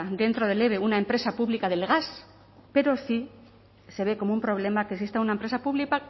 dentro del eve una empresa pública del gas pero sí se ve como un problema que exista una empresa